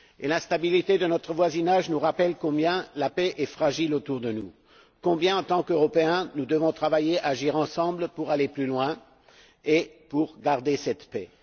L'instabilité de notre voisinage nous rappelle combien la paix est fragile autour de nous, combien en tant qu'Européens nous devons travailler et agir ensemble pour aller plus loin et pour garder cette paix.